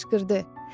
O qışqırdı.